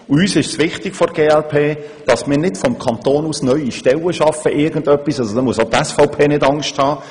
Der glp ist auch wichtig, dass wir vom Kanton aus keine neuen Stellen schaffen, da muss auch die SVP keine Angst haben.